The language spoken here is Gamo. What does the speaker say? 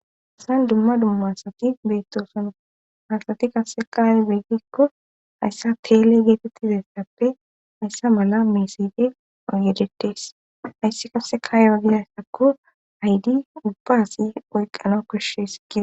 Hayissan dumma dumma asati beittosona hasati kase qaaye beggikko hayssa teele geetettizayssappe hayssa mala meesede agedetes hayssi kasse kaayewagizayssakko haydi dubbaasi oyqqana koshshees gie